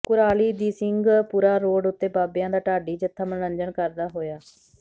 ਕੁਰਾਲੀ ਦੀ ਸਿੰਘਪੁਰਾ ਰੋਡ ਉਤੇ ਬਾਬਿਆਂ ਦਾ ਢਾਡੀ ਜਥਾ ਮਨੋਰੰਜਨ ਕਰਦਾ ਹੋਇਆ